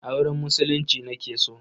Auren Musulunci nake so.